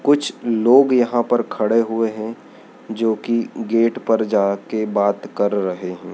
कुछ लोग यहां पर खड़े हुए हैं जो कि गेट पर जा के बात कर रहे हैं।